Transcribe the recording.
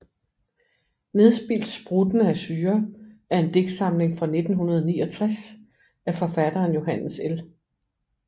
Nedspildt spruttende af syre er en digtsamling fra 1969 af forfatteren Johannes L